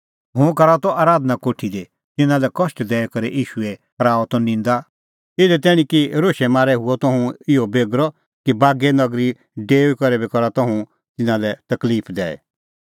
हुंह करा त आराधना कोठी दी तिन्नां लै कष्ट दैई करै ईशूए कराऊआ त निंदा इधी तैणीं कि रोशै मारै हुअ त हुंह इहअ बेगरअ कि बागै नगरी डेऊई करै बी करा त हुंह तिन्नां लै तकलिफ दैई